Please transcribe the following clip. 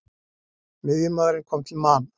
Miðjumaðurinn kom til Man.